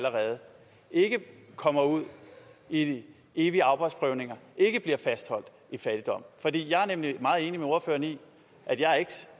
ikke kommer ud i evige arbejdsprøvninger ikke bliver fastholdt i fattigdom jeg er nemlig meget enig med ordføreren i